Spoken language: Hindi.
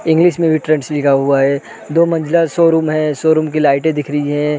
इंग्लिश में भी ट्रेंड्स लिखा हुआ है दो मंजिला शोरूम है शोरूम की लाइटें दिख रहीं हैं।